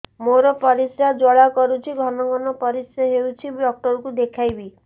ମୋର ପରିଶ୍ରା ଜ୍ୱାଳା କରୁଛି ଘନ ଘନ ପରିଶ୍ରା ହେଉଛି ଡକ୍ଟର କୁ ଦେଖାଇବି